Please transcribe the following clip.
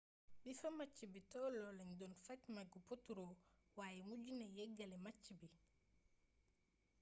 bi fa match bi tolloo lañu doon faj mbagu potro waaye mujji na yeggali match bi